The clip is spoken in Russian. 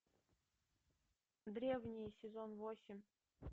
древние сезон восемь